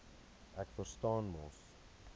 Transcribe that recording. ek verstaan mos